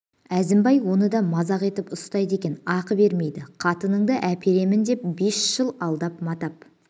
әзімбай оны да мазақ етіп ұстайды екен ақы бермейді қатынынды әперемін деп бес жыл алдап матап